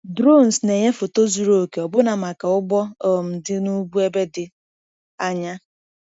Drones na-enye foto zuru oke ọbụna maka ugbo um dị n’ugwu ebe dị anya.